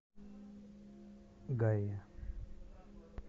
гае